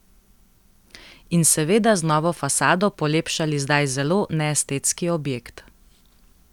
In seveda z novo fasado polepšali zdaj zelo neestetski objekt.